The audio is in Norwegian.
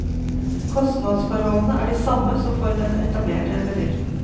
Kostnadsforholdene er de samme som for den etablerte bedriften.